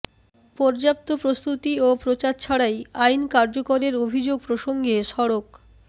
পর্যাপ্ত প্রস্তুতি ও প্রচার ছাড়াই আইন কার্যকরের অভিযোগ প্রসঙ্গে সড়ক